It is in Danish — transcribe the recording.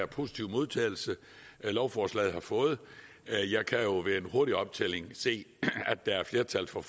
positive modtagelse lovforslaget har fået her jeg kan jo ved en hurtig optælling se at der er flertal for